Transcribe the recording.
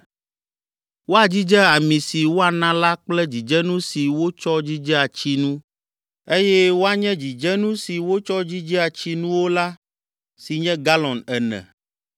Woadzidze ami si woana la kple dzidzenu si wotsɔ dzidzea tsinu, eye woanye dzidzenu si wotsɔ dzidzea tsinuwo la ƒe si nye galɔn ene.